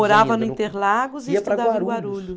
Morava no Interlagos e estudava em Guarulhos.